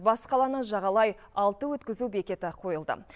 бас қаланы жағалай алты өткізу бекеті қойылды